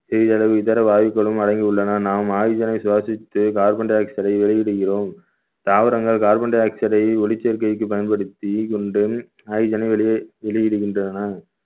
சிறிதளவு இதர வாயுகளும் அடங்கியுள்ளன நாம் oxygen ஐ சுவாசித்து carbon dioxide ஐ வெளியிடுகிறோம் தாவரங்கள் carbon dioxide ஐ ஒளிச்சேர்க்கைக்கு பயன்படுத்திக் கொண்டு oxygen ஐ வெளியே வெளியிடுகின்றன